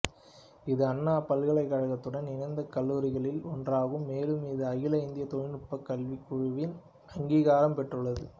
இது அண்ணா பல்கலைக்கழகத்துடன் இணைந்த கல்லூரிகளில் ஒன்றாகும் மேலும் இது அகில இந்திய தொழில்நுட்பக் கல்விக் குழுவின் அங்கிகாரம் பெற்றுள்ளது